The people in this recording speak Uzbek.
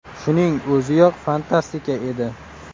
Shuning o‘ziyoq fantastika edi.